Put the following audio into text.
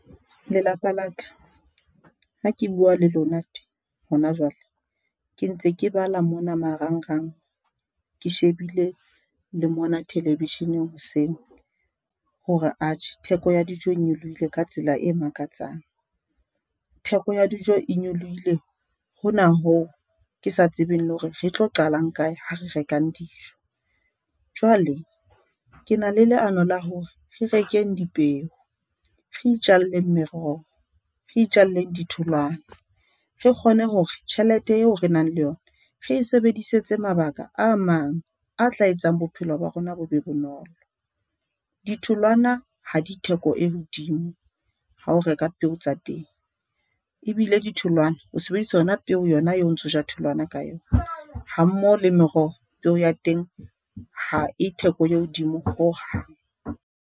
Lelapa la ka ha ke bua le lona tje hona jwale, ke ntse ke bala mona marangrang ke shebile le mona thelevesheneng hoseng hore atjhe theko ya dijo e nyolohile ka tsela e makatsang theko ya dijo e nyolohile, hona hoo ke sa tsebeng le hore re tlo qalang kae ha re rekang dijo. Jwale ke na le leano la hore re rekeng dipeo, re itjalleng meroho, re itjalleng ditholwana. Re kgone hore tjhelete eo re nang le yona, re e sebedisetse mabaka a mang a tla etsang bophelo ba rona bo be bonolo. Ditholwana ha di theko e hodimo ha o reka peo tsa teng ebile ditholwana. O sebedisa yona eo o ntso ja tholwana ka yona, hammoho le meroho. Peo ya teng ha e theko e hodimo hohang.